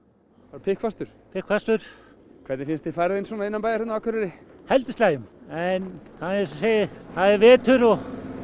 pikkfastur pikkfastur hvernig finnst þér færðin svona hérna innanbæjar á Akureyri heldur slæm en það er það er vetur og